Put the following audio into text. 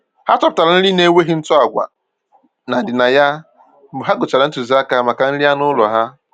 Ha chọpụtara nri nna-enweghị ntụ agwa na ndịna ya mgbe ha gụchara ntụziaka maka nri anụ ụlọ ha